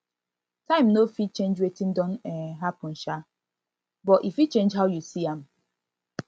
time no fit change wetin don um happen um but e fit change how you see am